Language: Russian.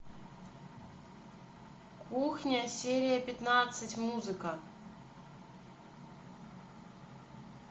кухня серия пятнадцать музыка